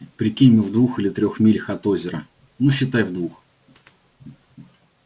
прикинь мы в двух или трёх милях от озера ну считай в двух